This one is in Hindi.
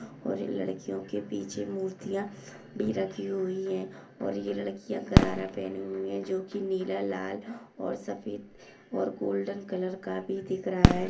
और इन लड़कियों के पीछे मुर्तीया भी रखी हुई है और ये लडकीया करारा पहने हुए है जो की नीला लाल और सफ़ेद और गोल्डेन कलर का भी दिख रहा है।